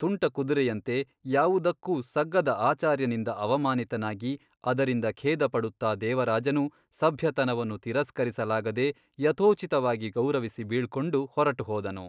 ತುಂಟಕುದುರೆಯಂತೆ ಯಾವುದಕ್ಕೂ ಸಗ್ಗದ ಆಚಾರ್ಯನಿಂದ ಅವಮಾನಿತನಾಗಿ ಅದರಿಂದ ಖೇದಪಡುತ್ತ ದೇವರಾಜನು ಸಭ್ಯತನವನ್ನು ತಿರಸ್ಕರಿಸಲಾಗದೆ ಯಥೋಚಿತವಾಗಿ ಗೌರವಿಸಿ ಬೀಳ್ಕೊಂಡು ಹೊರಟು ಹೋದನು.